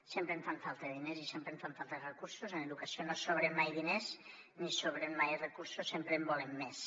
sempre en fan falta de diners i sempre en fan falta de recursos en educació no sobren mai diners ni sobren mai recursos sempre en volem més